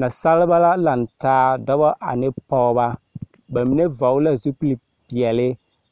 Nasaalba la nantaa dɔba ane pɔgeba. Ba mine vɔgele zupilipeɛle